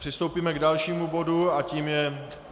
Přistoupíme k dalšímu bodu a tím je